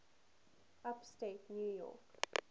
upstate new york